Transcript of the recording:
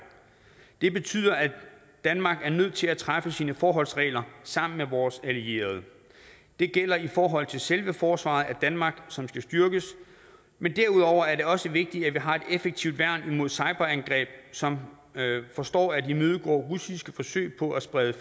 det betyder at danmark er nødt til at træffe sine forholdsregler sammen med vores allierede det gælder i forhold til selve forsvaret af danmark som skal styrkes men derudover er det også vigtigt at vi har et effektivt værn imod cyberangreb som forstår at imødegå russiske forsøg på at sprede